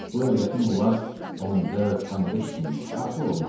Bu övrətin olar 14-15 sinni artıq olmaz.